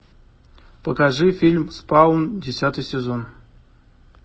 покажи фильм спаун десятый сезон